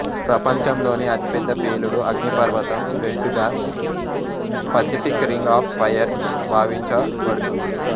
ప్రపంచంలోనే అతిపెద్ద పేలుడు అగ్నిపర్వతం బెల్టుగా పసిఫిక్ రింగ్ ఆఫ్ ఫైర్ భావించబడుతుంది